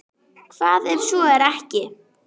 Hvað ef svo er ekki?